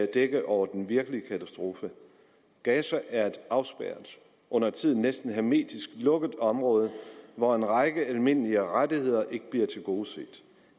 dække over den virkelige katastrofe gaza er et afspærret undertiden næsten hermetisk lukket område hvor en række almindelige rettigheder ikke bliver tilgodeset